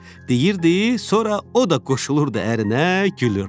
Deyirdi, sonra o da qoşulurdu ərinə, gülürdü.